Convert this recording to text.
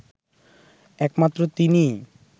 একমাত্র তিনিই